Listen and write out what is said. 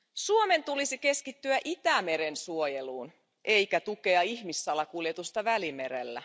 Suomen tulisi keskittyä Itämeren suojeluun eikä tukea ihmissalakuljetusta Välimerellä.